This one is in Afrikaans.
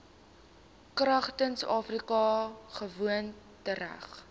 kragtens afrika gewoontereg